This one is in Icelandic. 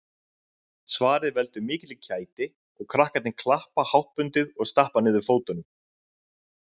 Svarið veldur mikilli kæti og krakkarnir klappa háttbundið og stappa niður fótunum